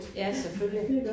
Ja selvfølgelig